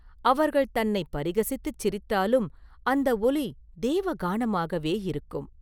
அவர்கள் தன்னைப் பரிகசித்துச் சிரித்தாலும் அந்த ஒலி தேவகானமாகவே இருக்கும்.